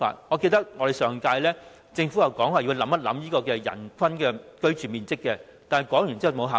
我記得政府在上屆立法會曾說過會考慮人均居住面積，但說過之後便再無下文。